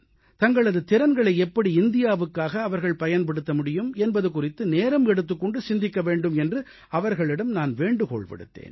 தங்களது திறன்களை எப்படி இந்தியாவுக்காக அவர்கள் பயன்படுத்த முடியும் என்பது குறித்து நேரம் எடுத்துக் கொண்டு சிந்திக்க வேண்டும் என்று அவர்களிடம் நான் வேண்டுகோள் விடுத்தேன்